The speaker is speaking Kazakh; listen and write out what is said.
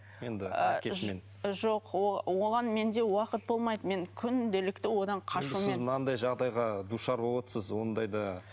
енді жоқ оған менде уақыт болмайды мен күнделікті одан қашумен мынандай жағдайға душар ондайда